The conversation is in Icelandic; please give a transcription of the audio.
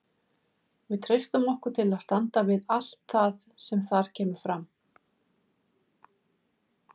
Við treystum okkur til að standa við allt það sem þar kemur fram.